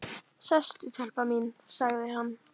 Sestu telpa mín, sagði hann.